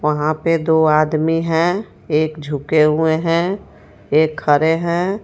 वहां पे दो आदमी है एक झुके हुए हैं एक खरे हैं.